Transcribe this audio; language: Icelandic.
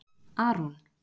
Aron